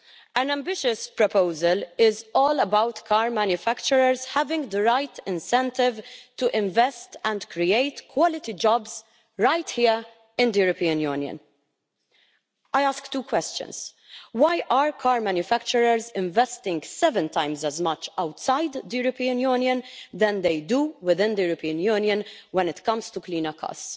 An ambitious proposal is all about car manufacturers having the right incentive to invest and create quality jobs right here in the European Union. I ask two questions why are car manufacturers investing seven times as much outside the European Union as they do within the European Union when it comes to cleaner cars?